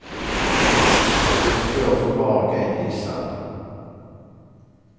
Hur det går får var och en gissa.